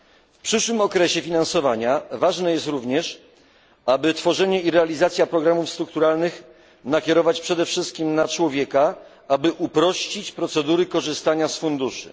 W przyszłym okresie finansowania ważne jest również, aby tworzenie i realizację programów strukturalnych nakierować przede wszystkim na człowieka, aby uprościć procedury korzystania z funduszy.